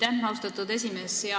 Aitäh, austatud esimees!